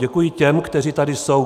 Děkuji těm, kteří tady jsou.